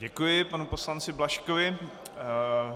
Děkuji panu poslanci Blažkovi.